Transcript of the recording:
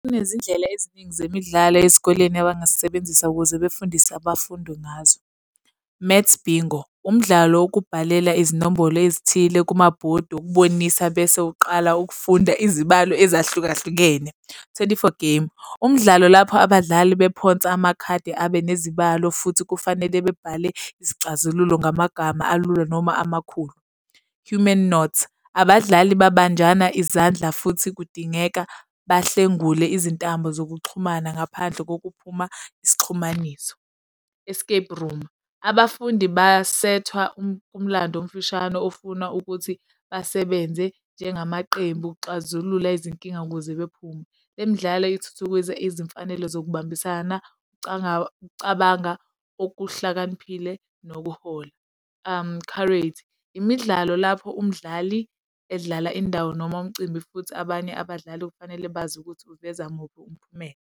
Kunezindlela eziningi zemidlalo ezikoleni abangazisebenzisa ukuze befundise abafundi ngazo. Maths Bingo, umdlalo wokubhalela izinombolo ezithile kumabhodi wokubonisa bese uqala ukufunda izibalo ezahlukahlukene. Twenty-four game, umdlalo lapho abadlali bephonsa amakhadi abe nezibalo futhi kufanele bebhale izixazululo ngamagama alula noma amakhulu. Human knot, abadlali babanjana izandla futhi kudingeka bahlengule izintambo zokuxhumana ngaphandle kokuphuma isixhumaniso. Escape room, abafundi basethwa umlando omfishane ofuna ukuthi basebenze njengamaqembu ukuxazulula izinkinga ukuze bephume. Le midlalo ithuthukisa izimfanelo zokubambisana, cabanga okuhlakaniphile nokuhola. imidlalo lapho umdlali edlala indawo noma umcimbi, futhi abanye abadlali kufanele bazi ukuthi uveza muphi umphumela.